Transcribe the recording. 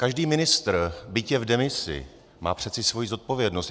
Každý ministr, byť je v demisi, má přece svoji zodpovědnost.